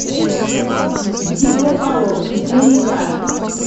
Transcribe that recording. битва полов четыре ка